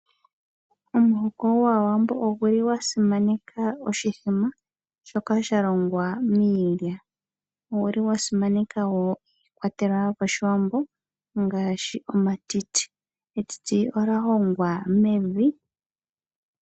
Omuhoko gwaawambo oguli gwa simaneka oshimbombo shoka sha longwa miilya. Oguli gwa simaneka wo iikwatelwa yopashiwambo ngaashi oomatiti. Etiti olya hongwa mevi.